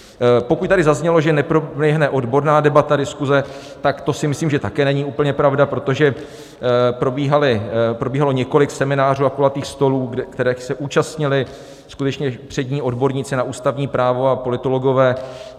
Pokud tady zaznělo, že neproběhne odborná debata, diskuze, tak to si myslím, že také není úplně pravda, protože probíhalo několik seminářů a kulatých stolů, kterých se účastnili skutečně přední odborníci na ústavní právo a politologové.